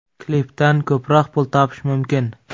Klipdan ko‘proq pul topish mumkin.